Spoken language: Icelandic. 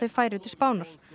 færi til Spánar